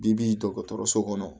Bibi in dɔgɔtɔrɔso kɔnɔ